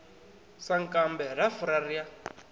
sankambe ra fura ri a